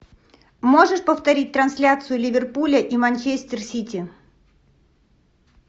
можешь повторить трансляцию ливерпуля и манчестер сити